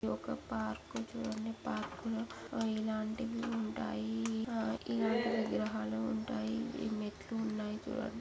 ఒక పార్క్ చూడండి. పార్క్ లో ఇలాంటివి ఉంటాయి.ఆ ఇలాంటి విగ్రహాలు ఉంటాయి. మెట్లు ఉన్నాయి చూడండి.